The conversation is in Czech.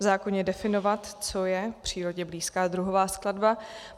V zákoně definovat, co je přírodě blízká druhová skladba.